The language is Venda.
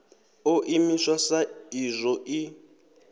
ḓo imiswa sa izwo i